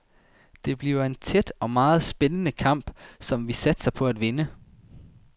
Det bliver en tæt og meget spændende kamp, som vi satser på at vinde.